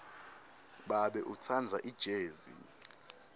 babe utsandza ijezi